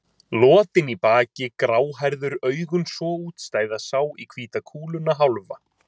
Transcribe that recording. Lotinn í baki, gráhærður, augun svo útstæð, að sá í hvíta kúluna hálfa.